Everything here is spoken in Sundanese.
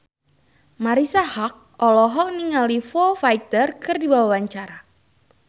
Marisa Haque olohok ningali Foo Fighter keur diwawancara